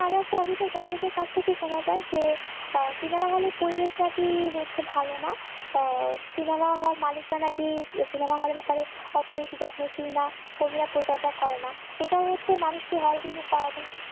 OTT দর্শকদের কাছ থেকে শোনা যায় যে cinema হলের পরিবেশ নাকি হচ্ছে ভালো না cinema হল মালিকরা নাকি cinema হলের ব্যাপারে অত বেশি যত্নশীল না পরিচর্যা করে না এটা হচ্ছে মানুষকে হল বিমুখ করার জন্য